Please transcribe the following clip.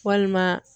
Walima